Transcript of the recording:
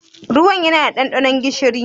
Ruwan ya na da ɗanɗanon gishiri?